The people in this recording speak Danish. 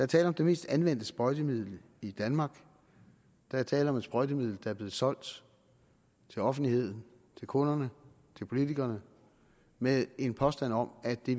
tale om det mest anvendte sprøjtemiddel i danmark der er tale om et sprøjtemiddel der er blevet solgt til offentligheden til kunderne til politikerne med en påstand om at det